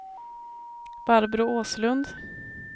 Barbro Åslund